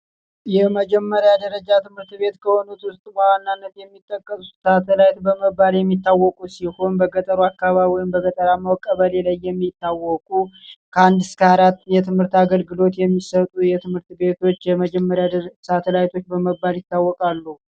የመጀመሪያ ደረጃ ትምህርት ቤት ከሆኑት ውስጥ በዋናነት የሚጠቀሰው ታጠቅ የሚባለው ሲሆን በከተማ አካባቢ ወይም በገጠር የሚታወቁ ከ1-4 የትምህርት አገልግሎት የሚሠጡ የመጀመሪያ ደረጃ ሳተላይቶች በመባል ይታወቃሉ።